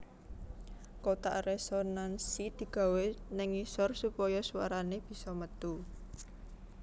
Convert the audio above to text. Kotak resonansi digawé ning ngisor supaya swarane bisa metu